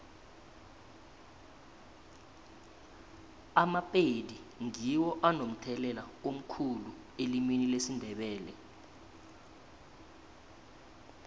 amapedi ngiwo anomthelela omkhulu elimini lesindebele